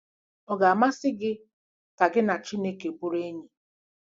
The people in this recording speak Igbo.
Ọ ga-amasị gị ka gị na Chineke bụrụ enyi?